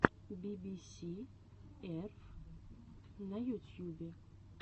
би би си ерф на ютьюбе